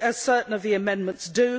as certain of the amendments do.